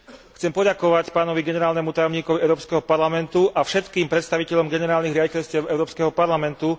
Chcem poďakovať pánovi Generálnemu tajomníkovi Európskeho parlamentu a všetkým predstaviteľom generálnych riaditeľstiev Európskeho parlamentu